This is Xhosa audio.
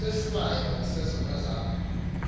isohlwayo sezono zam